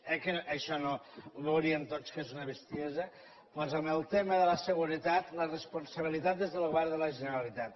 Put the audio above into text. eh que això ho veuríem tots que és una bestiesa doncs en el tema de la seguretat la responsabilitat és del govern de la generalitat